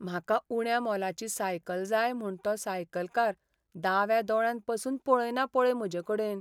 म्हाका उण्या मोलाची सायकल जाय म्हूण तो सायकलकार दाव्या दोळ्यान पासून पळयना पळय म्हजेकडेन.